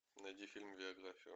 найди фильм биографию